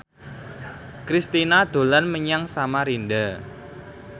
Kristina dolan menyang Samarinda